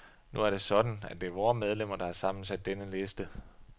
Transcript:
Nu er det sådan, at det er vore medlemmer, der har sammensat denne liste.